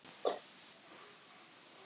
Þær voru markahæstar hvor í sínu liði.